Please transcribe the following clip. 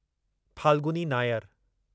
Falguni Nair